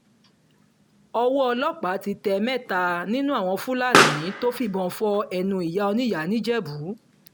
owó ọlọ́pàá ti tẹ mẹ́ta nínú àwọn fúlàní tó fìbọn fọ ẹnu ìyá oníyàá ńìjẹ́bù